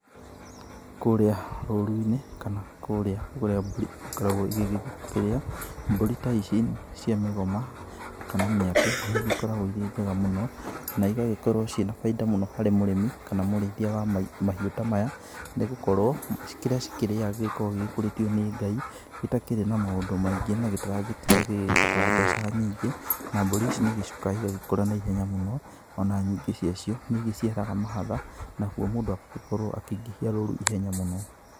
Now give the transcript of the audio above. Kũrĩa rũru-inĩ kana kũrĩa mbũrĩ igĩkoragwo igĩkĩrĩa, mbũri ta ici cia mĩgoma kana mĩatĩ nĩ igĩkoragwo irĩ njega mũno na igagĩkorwo ciĩna baida mũno harĩ mũrĩmi kana mũrĩithia wa mahiũ ta maya nĩ gũkorwo kĩrĩa cikĩrĩaga gĩgĩkoragwo gĩkũrĩtio nĩ Ngai, gĩtakĩrĩ na maũndũ maingĩ na gĩtaragĩtinda gĩgĩbatara mbeca nyingĩ, na mbũri ici nĩ igĩcokaga igagĩkũra na ihenya mũno, o na nyingĩ ciacio nĩ igĩciaraga mahatha nakuo mũndũ agagĩkorwo akĩingĩhia rũru na ihenya mũno.